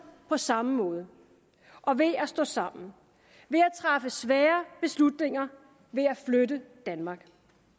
på samme måde og ved at stå sammen ved at træffe svære beslutninger ved at flytte danmark